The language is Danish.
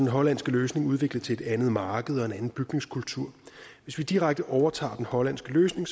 hollandske løsning udviklet til et andet marked og en anden bygningskultur hvis vi direkte overtager den hollandske løsning